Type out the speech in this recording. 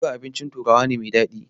Boga abincin turawa ne mai daɗi.